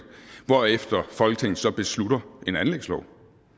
hvorefter folketinget så beslutter en anlægslov